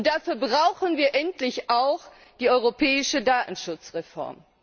Und dafür brauchen wir endlich auch die europäische Datenschutzreform.